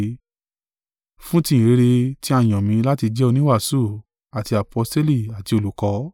Fún ti ìyìnrere tí a yàn mi láti jẹ oníwàásù àti aposteli àti olùkọ́.